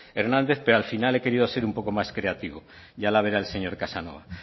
hernández pero al final he querido ser un poco más creativo ya la verá el señor casanova